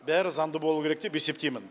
бәрі заңды болу керек деп есептеймін